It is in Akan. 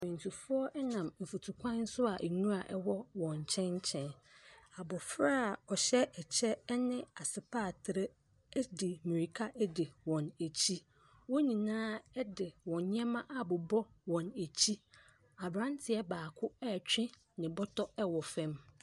Akwantufoɔ nam mfutukwan so a nwira wɔ wɔn nkyɛn nkyɛn. Abɔfra a ɔhyɛ ɛkyɛ ne asepatere ɛ di mmirika di wɔn akyi. Wɔn nyinaa de wɔn nneɛma abobɔ wɔn akyi. Aberanteɛ baako retwe ne bɔtɔ wɔ fam.